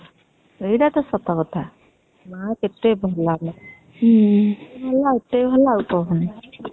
ଏଇଟା ତ ସତ କଥା ମା କେତେ ଭଲ ହୁଁ ହଁ